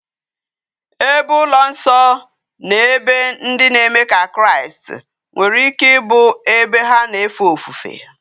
Ebe ulo nso na ebe ndi na eme ka kraist nwere ike ibu ebe ha na efe ofufe